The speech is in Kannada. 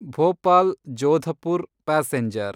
ಭೋಪಾಲ್ ಜೋಧಪುರ್ ಪ್ಯಾಸೆಂಜರ್